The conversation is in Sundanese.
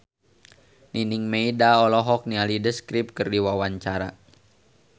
Nining Meida olohok ningali The Script keur diwawancara